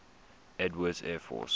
edwards air force